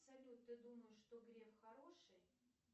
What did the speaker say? салют ты думаешь что греф хороший